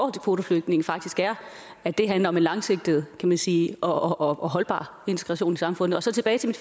kvoteflygtninge faktisk er at det handler om en langsigtet kan man sige og holdbar integration i samfundet og så tilbage til